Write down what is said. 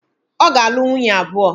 Ọ ga-alụ nwunye abụọ.